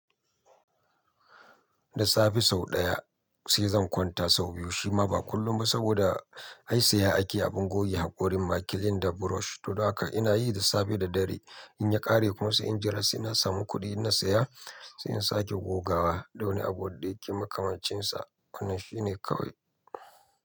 Da safe sau ɗaya sai zan kwanta sau biyu shima ba kullum ba saboda ai siya ake abin goge haƙorin makilin da brush. To, don haka ina yi da safe da dare. In ya ƙare kuma sai in jira sai na samu kuɗi inna saya sai in sake gogawa. Da wani abu da yake makamancinsa wannan shine kawai.